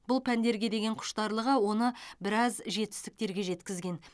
бұл пәндерге деген құштарлығы оны біраз жетістіктерге жеткізген